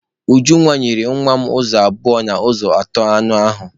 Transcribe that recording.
Ujunwa nyere nwa m ụzọ abụọ n'ụzọ atọ anụ ahụ.